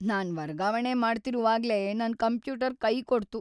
ನಾನ್ ವರ್ಗಾವಣೆ ಮಾಡ್ತಿರುವಾಗ್ಲೇ ನನ್ ಕಂಪ್ಯೂಟರ್ ಕೈಕೊಡ್ತು.